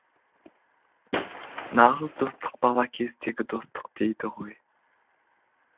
нағыз достық бала кездегі достық дейді ғой